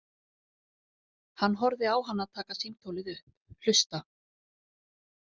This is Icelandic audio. Hann horfði á hana taka símtólið upp, hlusta.